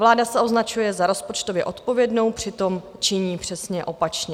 Vláda se označuje za rozpočtově odpovědnou, přitom činí přesně opačně.